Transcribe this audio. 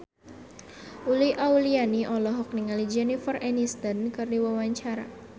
Uli Auliani olohok ningali Jennifer Aniston keur diwawancara